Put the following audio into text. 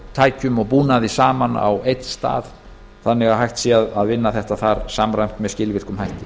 tækjum og búnaði saman á einn stað þannig að hægt sé að vinna þetta þar samræmt með skilvirkum hætti